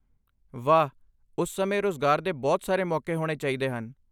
ਵਾਹ! ਉਸ ਸਮੇਂ ਰੁਜ਼ਗਾਰ ਦੇ ਬਹੁਤ ਸਾਰੇ ਮੌਕੇ ਹੋਣੇ ਚਾਹੀਦੇ ਹਨ।